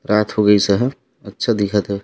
रात हो गइस हे अच्छा दिखत हे।